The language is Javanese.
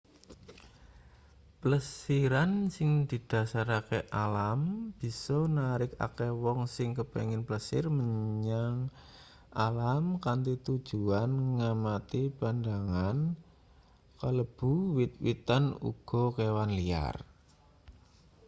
plesiran sing didhasarke-alam bisa narik akeh wong sing kepingin plesir menyang alam kanthi tujuan ngamati pandhangan kalebu wit-witan uga kewan liar